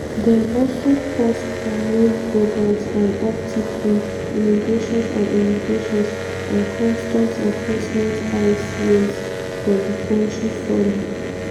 dem also pause parole programmes and uptick in immigrations and immigrations and customs enforcement (ice) raids for di kontri follow.